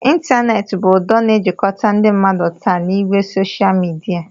Ịntaneetị bụ ụdọ na-ejikọta ndị mmadụ taa n'ìgwè soshal midia